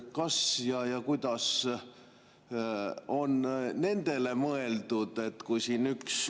Kas ja kuidas on nendele mõeldud?